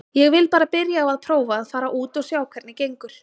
Ég vil bara byrja á að prófa að fara út og sjá hvernig gengur.